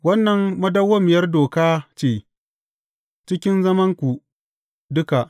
Wannan madawwamiyar doka ce cikin zamananku duka.